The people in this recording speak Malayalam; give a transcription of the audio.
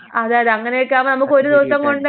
*not clear*